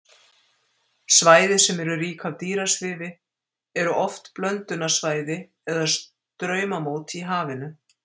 Svæði sem eru rík af dýrasvifi eru oft blöndunarsvæði eða straumamót í hafinu.